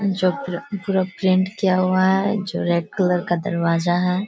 जो पू पूरा प्रिंट किया हुआ है जो रेड कलर का दरवाजा है।